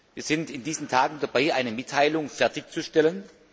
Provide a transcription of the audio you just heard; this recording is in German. Wir sind in diesen Tagen dabei, eine Mitteilung fertig zu stellen.